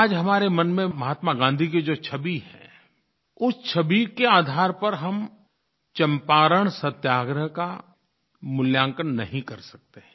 आज हमारे मन में महात्मा गाँधी की जो छवि है उस छवि के आधार पर हम चंपारण सत्याग्रह का मूल्यांकन नहीं कर सकते हैं